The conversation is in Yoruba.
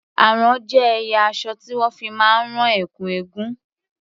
Àrán jé ẹ̀yà aṣọ tí wón fi máa ń rán ẹ̀kú eégún.